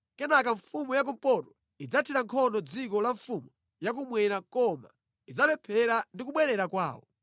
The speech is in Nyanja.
Kenaka mfumu ya kumpoto idzathira nkhondo dziko la mfumu ya kummwera koma idzalephera ndi kubwerera kwawo.